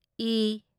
ꯢ